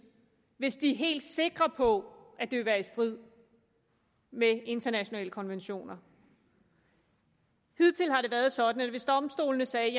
hvis de er helt sikre på at det vil være i strid med internationale konventioner hidtil har det været sådan at hvis domstolene sagde